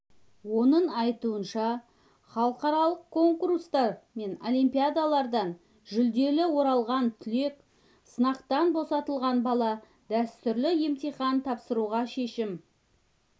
оның айтуынша халықаралық конкурстар мен олимпиадалардан жүлделі оралған түлек сынақтан босатылған бала дәстүрлі емтихан тапсыруға шешім